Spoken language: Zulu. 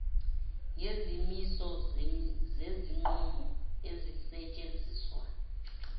ngezimiso zezinqumo ezisetshenziswa